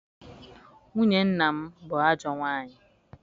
Nwunye nna m bụ ajọ nwaanyị.